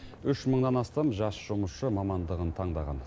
үш мыңнан астам жас жұмысшы мамандығын таңдаған